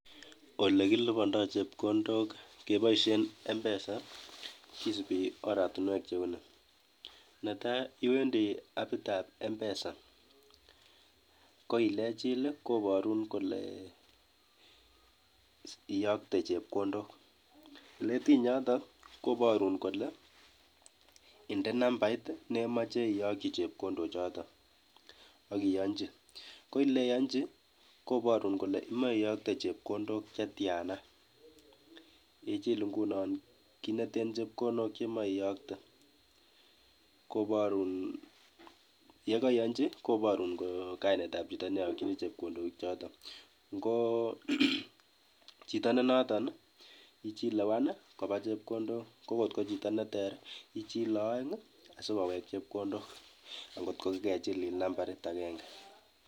Ole kilipondo chepkondok keboisien M-pesa kisibi oratinwek cheu nii ,netaa iwendi apitab en M-pesa ko elejil koborun kole iyokte chepkondok eletiny yoton koborun kole indee nambait nemoche iyokji chepkondochoton ak iyonji ko eleyonji koborun kole imoe iyokte chepkondok chetiana ijil ingunon Kineton chepkondok chemoe iyokte yekeiyonjin koborun kainetab chito netokjini chepkondochoton ingo chito nenoto ii one kokotko chito neter ijilee oeng sikowek chepkondok angot kokagejilil nambarit agenge.